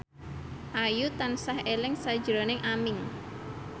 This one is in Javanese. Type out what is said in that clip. Ayu tansah eling sakjroning Aming